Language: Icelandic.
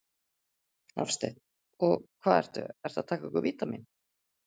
Hafsteinn: Og hvað ertu, ertu að taka einhver vítamín?